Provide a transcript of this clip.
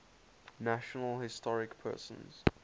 national historic persons